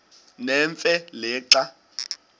nemfe le xa